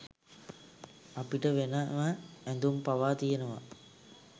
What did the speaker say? අපිට වෙනම ඇඳුම් පවා තියෙනවා.